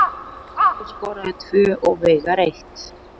Pálmi skoraði tvö og Veigar eitt